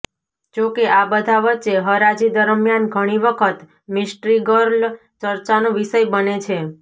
જોકે આ બધા વચ્ચે હરાજી દરમિયાન ઘણી વખત મિસ્ટ્રી ગર્લ ચર્ચાનો વિષય બને છે